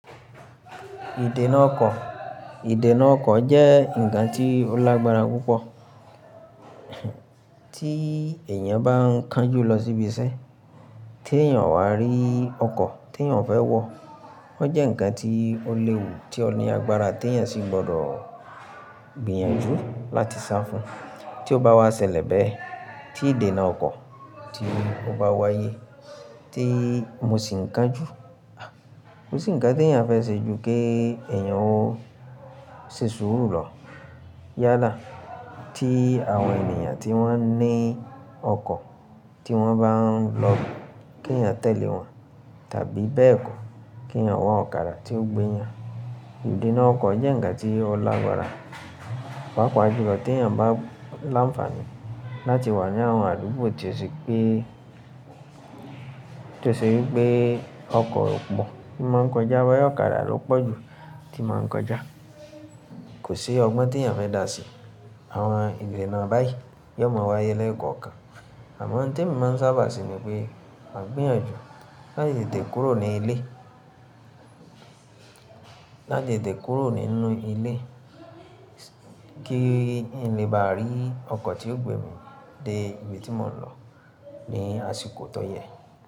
Ìdènà ọkọ̀, ìdènà ọkọ̀ jẹ́ ǹkan tí ó lágbára púpọ̀, tí èèyàn bá ń kánjú lọ síbi iṣẹ́, tí èèyàn o wá rí ọkọ̀ tí èèyàn fẹ́ wọ̀, ó jẹ́ ǹkan tí ó léwu, tí ó ní agbára tí èèyàn sì gbọdọ̀ gbìyànjú láti sá fún. Tí ó bá wá ṣẹlẹ̀ bẹ́ẹ̀, tí ìdènà ọkọ̀ tí ó bá wáyé tí mo sì ń kánjú, ko sì ń kán tí èèyàn fẹ́ ṣe ju kí èèyàn ó ṣe sùúrù lọ yálà tí àwọn ènìyàn tí wọ́n ní ọkọ̀ tí wọ́n bá ń lọ kí èèyàn tẹ̀lé wọn tàbí bẹ́ẹ̀ kọ́ kí èèyàn wá ọ̀kadà tí ó gbé yàn. Ìdènà ọkọ̀ jẹ́ ǹkan tí ó lágbára, pàápàá jù lọ tí èèyàn bá láńfààní láti wà ní àwọn àdúgbò tí ó ṣe wí pé, tí ó ṣe wí pé ọkọ̀ ò pọ̀ tí máa ń kọjá, boya ọ̀kadà ló pọ̀ jù tí máa ń kọjá. Kò ṣi ọgbọ́n tí èèyàn fẹ́ dà sí. Àwọn ìdènà báyìí yóò máa wáyé lẹ́ẹ̀kọ̀kan, àmọ́ ohun tí emi máa ń sábà ṣe ni pé màá gbìyànjú láti tetè kúrò ní ilé, láti tetè kúrò nínú ilé, kí n lè bá rí ọkọ̀ tí yóò gbé mi dé ibi tí mò ń lọ ní àsìkò tó yẹ.